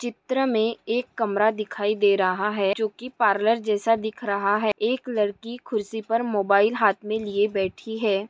चित्र में एक कमरा दिखाई दे रहा है जो की पार्लर जैसा दिख रहा है एक लडकी कुरसी पर मोबाइल हाथ में लिए बैठी है।